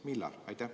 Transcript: Millal?